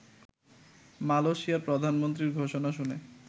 মালয়েশিয়ার প্রধানমন্ত্রীর ঘোষণা শুনে